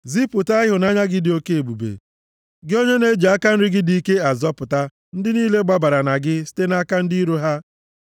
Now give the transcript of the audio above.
Zipụta ịhụnanya gị dị oke ebube; gị onye na-eji aka nri gị dị ike azọpụta ndị niile gbabara na gị site nʼaka ndị iro ha.